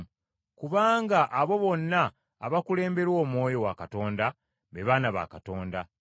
kubanga abo bonna abakulemberwa Omwoyo wa Katonda be baana ba Katonda.